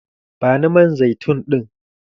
Bani man zaitun ɗin!